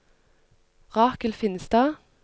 Rakel Finstad